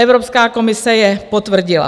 Evropská komise je potvrdila.